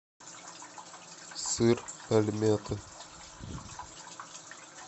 сыр альметте